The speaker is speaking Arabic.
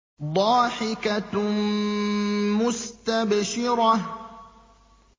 ضَاحِكَةٌ مُّسْتَبْشِرَةٌ